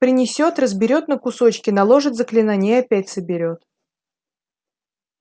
принесёт разберёт на кусочки наложит заклинание и опять соберёт